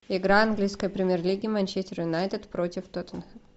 игра английской премьер лиги манчестер юнайтед против тоттенхэма